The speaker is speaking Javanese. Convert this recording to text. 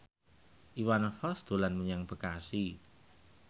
Iwan Fals dolan menyang Bekasi